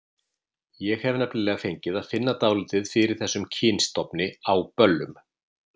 Ég hef nefnilega fengið að finna dálítið fyrir þessum kynstofni á böllum.